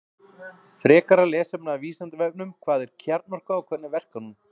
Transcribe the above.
Frekara lesefni af Vísindavefnum Hvað er kjarnorka og hvernig verkar hún?